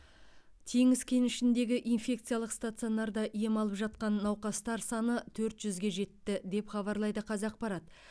теңіз кенішіндегі инфекциялық стационарда ем алып жатқаннауқастар саны төрт жүзге жетті деп хабарлайды қазақпарат